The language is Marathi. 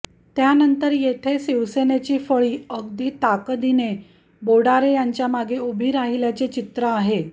त्यानंतर येथे शिवसेनेची फळी अधिक ताकदीने बोडारे यांच्यामागे उभी राहिल्याचे चित्र आहे